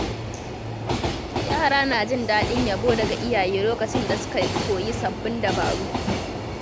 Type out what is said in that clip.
Yara na jin daɗin yabo daga iyaye lokacin da suka koyi sababbin dabaru.